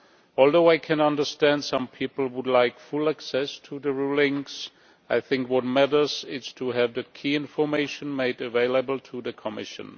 Although I can understand some people would like full access to the rulings, I think what matters is to have the key information made available to the Commission.